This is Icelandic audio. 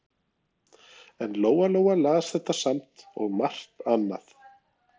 En Lóa Lóa las þetta samt og margt annað.